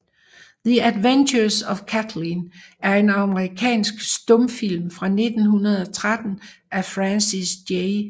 The Adventures of Kathlyn er en amerikansk stumfilm fra 1913 af Francis J